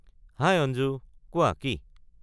হাই অঞ্জু! কোৱা কি।